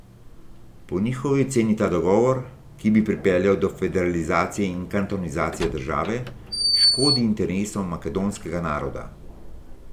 Po njihovi oceni ta dogovor, ki bi pripeljal do federalizacije in kantonizacije države, škodi interesom makedonskega naroda.